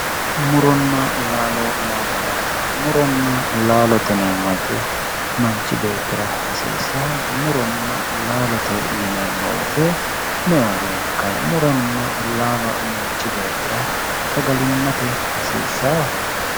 Muronna laalo yaa mayyaate muronna laalote yineemmo woyte manchi beettira hasiissao muronna laalote yineemmo woyte me"ewa beenkayi muronna laalo manchi beettira sagalimmate hasiissao?